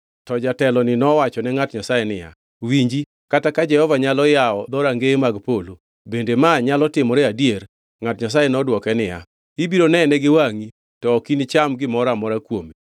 To jateloni nowachone ngʼat Nyasaye niya, “Winji, kata ka Jehova Nyasaye nyalo yawo dhorangeye mag polo, bende manyalo timore adier?” Ngʼat Nyasaye nodwoke niya, “Ibiro nene gi wangʼi, to ok inicham gimoro amora kuome!”